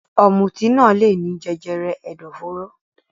Ọ̀mùtí naa leèní jẹjẹrẹ ẹdọforo